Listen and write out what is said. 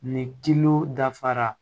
Ni dilo dafara